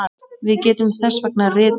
Við getum þess vegna ritað